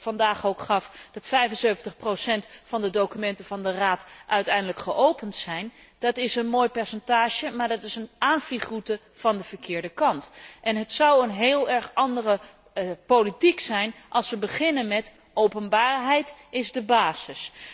vandaag aangaf, namelijk dat 75 van de documenten van de Raad uiteindelijk geopend zijn, is een mooi percentage maar dat is een aanvliegroute van de verkeerde kant. Het zou een heel andere politiek zijn als we beginnen met openbaarheid is de basis.